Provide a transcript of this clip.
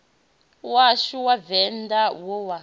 washu wa venḓa wo wa